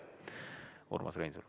Urmas Reinsalu.